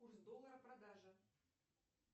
курс доллара продажа